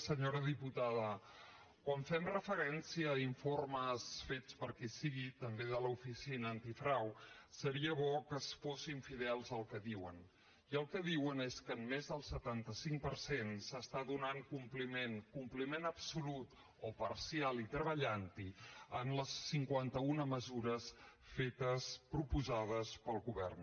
senyora diputada quan fem referència a informes fets per qui sigui també de l’oficina antifrau seria bo que fossin fidels al que diuen i el que diuen és que a més del setanta cinc per cent s’està donant compliment compliment absolut o parcial i treballant hi en les cinquanta una mesures fetes proposades pel govern